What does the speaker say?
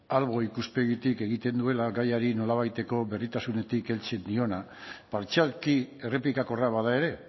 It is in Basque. albo ikuspegitik egiten duela gaiari nolabaiteko berdintasunetik heltzen diona partzialki errepikakorra bada ere